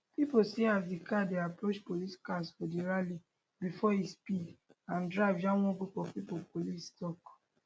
pipo see as di car dey approach police cars for di rally bifor e speed and drive jam one group of pipo police tok